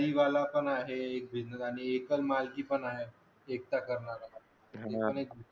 पण आहे एक business आणि एकल मालकी पण आहे एकटा करणारा